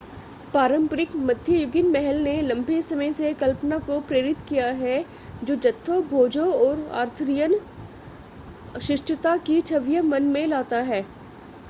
पारंपरिक मध्ययुगीन महल ने लंबे समय से कल्पना को प्रेरित किया है जो जत्थों भोजों और आर्थरियन शिष्टता की छवियां मन में लाता है